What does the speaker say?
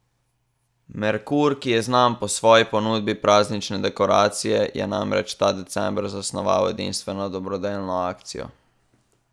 Merkur, ki je znan po svoji ponudbi praznične dekoracije, je namreč ta december zasnoval edinstveno dobrodelno akcijo.